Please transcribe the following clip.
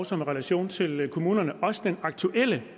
som har relation til kommunerne også det aktuelle